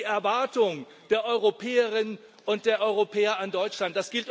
Das ist die Erwartung der Europäerinnen und der Europäer an Deutschland.